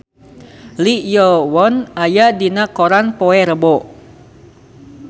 Lee Yo Won aya dina koran poe Rebo